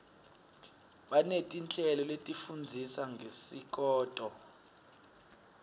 baneti nhleloletifundzisa ngesikoto